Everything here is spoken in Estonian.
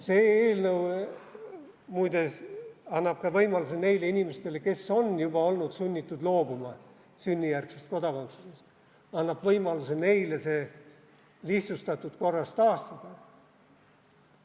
See eelnõu muide annab ka võimaluse neile inimestele, kes on juba olnud sunnitud loobuma sünnijärgsest kodakondsusest, see lihtsustatud korras taastada.